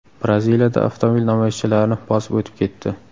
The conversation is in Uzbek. Braziliyada avtomobil namoyishchilarni bosib o‘tib ketdi .